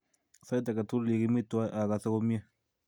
Sait ake tukul ye kimi twai akose komnye.